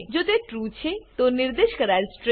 જો તે ટ્રૂ છે તો નિર્દેશ કરાયેલ સ્ટ્રીંગ